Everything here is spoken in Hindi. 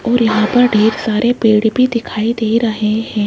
और यहां पर ढेर सारे पेड़ भी दिखाई दे रहे हैं।